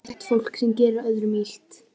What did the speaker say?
Illa innrætt fólk sem gerir öðrum illt.